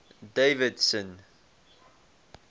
davidson